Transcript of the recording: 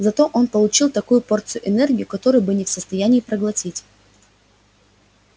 зато он получил такую порцию энергии которую был не в состоянии проглотить